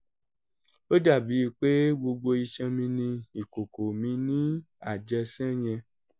ó dà bíi pé gbogbo iṣan mi ni ìkòkò mi ni àjẹsán yẹn